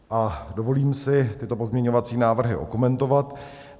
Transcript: A dovolím si tyto pozměňovací návrhy okomentovat.